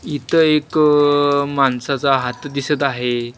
इथ एक माणसाचा हात दिसत आहे.